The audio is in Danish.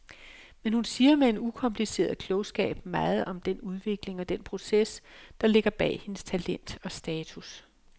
Men hun siger med en ukompliceret klogskab meget om den udvikling og den proces, der ligger bag hendes talent og status.